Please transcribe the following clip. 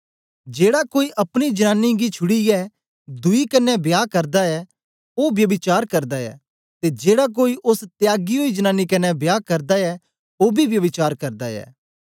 जेड़ा कोई अपनी जनानी गी छूडीऐ दुई कन्ने बियाह करदा ऐ ओ ब्यभिचार करदा ऐ ते जेड़ा कोई ऐसी त्यागी ओई जनांनी कन्ने बियाह करदा ऐ ओ बी ब्यभिचार करदा ऐ